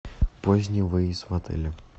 поздний выезд в отеле